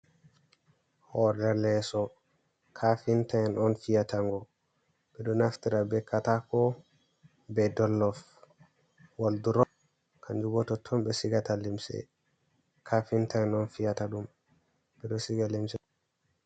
Hore leso, ka finta in on fiyata ngo, ɓeɗo naftira be katako ɓe dollov, woldro kanjubo totton be sigata limsi, ka finta en on fiyata ɗum, ɓeɗo siga limsi.